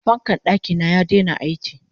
fankar ɗakina ya Daina aiki